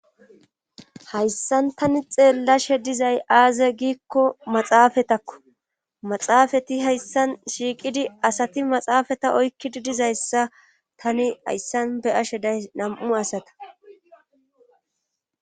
hayssan tani xeellashe dizay aaza giikko maxaafatakko maxaafati hayssan shiiqidi asati maxaafata oykkidi dizayssa tani hayssan be ashe day nam7u asata